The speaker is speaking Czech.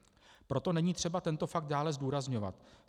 Proto není třeba tento fakt dále zdůrazňovat.